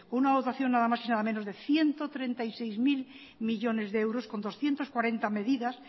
una dotación nada más y nada menos de ciento treinta y seis mil millónes de euros con doscientos cuarenta medidas